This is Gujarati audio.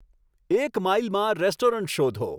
એક માઈલમાં રેસ્ટોરન્ટ શોધો